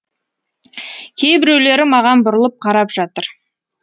кейбіреулері маған бұрылып қарап жатыр